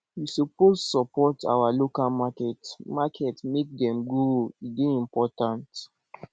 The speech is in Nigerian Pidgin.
we suppose support our local market market make dem grow e dey important